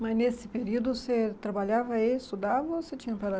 Mas nesse período você trabalhava e estudava? Ou você tinha